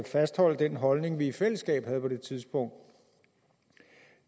fastholde den holdning vi i fællesskab havde på det tidspunkt